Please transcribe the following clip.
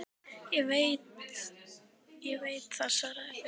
Ekki veit ég það, svaraði Björn.